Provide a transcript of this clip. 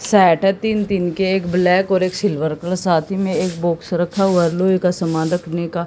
Set है तीन तीन के एक ब्लैक और एक सिल्वर का साथ में एक बॉक्स रखा हुआ लोहे का सामान रखने का।